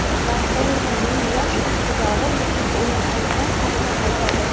"Barselona"ning yosh iqtidori muhim o‘yin oldidan safga qaytadi;.